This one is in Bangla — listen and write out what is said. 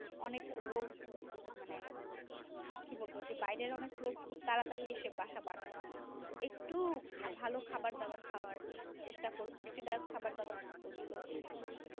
অনেক রোগ মানে কি বলব সেই বাইরের অনেক রোগ তাড়াতাড়ি এসে একটু ভালো খাবার দাবার খাওয়া চেষ্টা করুন পুষ্টি খাওয়া দাওযার গুলো একটু